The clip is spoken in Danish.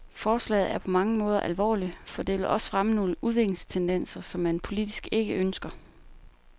Forslaget er på mange måder alvorligt, for det vil også fremme nogle udviklingstendenser, som man politisk ikke ønsker.